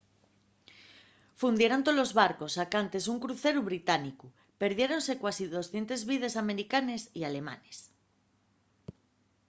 fundieron tolos barcos sacantes un cruceru británicu perdiéronse cuasi 200 vides americanes y alemanes